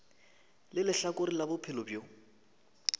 le lehlakore la bophelo bjo